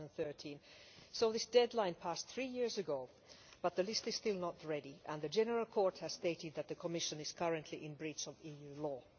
2013. So this deadline passed three years ago but the list is still not ready, and the General Court has stated that the Commission is currently in breach of EU law.